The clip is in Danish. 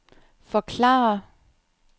forklare